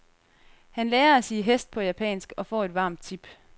Han lærer at sige hest på japansk og får et varmt tip.